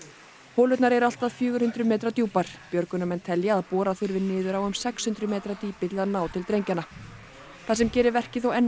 holurnar eru allt að fjögur hundruð metra djúpar björgunarmenn telja að bora þurfi niður á um sex hundruð metra dýpi til að ná til drengjanna það sem gerir verkið þó enn